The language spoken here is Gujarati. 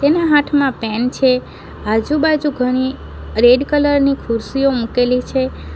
એના હાથમાં પેન છે આજુબાજુ ઘણી રેડ કલર ની ખુરશીઓ મૂકેલી છે.